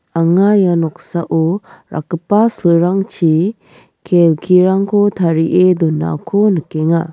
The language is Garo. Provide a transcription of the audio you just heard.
anga ia noksao rakgipa silrangchi kelkirangko tarie donako nikenga.